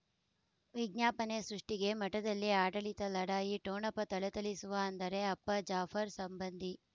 ವಿಜ್ಞಾಪನೆ ಸೃಷ್ಟಿಗೆ ಮಠದಲ್ಲಿ ಆಡಳಿತ ಲಢಾಯಿ ಠೊಣಪ ಥಳಥಳಿಸುವ ಅಂದರೆ ಅಪ್ಪ ಜಾಫರ್ ಸಂಬಂಧಿ